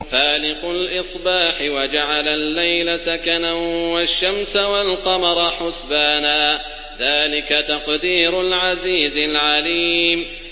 فَالِقُ الْإِصْبَاحِ وَجَعَلَ اللَّيْلَ سَكَنًا وَالشَّمْسَ وَالْقَمَرَ حُسْبَانًا ۚ ذَٰلِكَ تَقْدِيرُ الْعَزِيزِ الْعَلِيمِ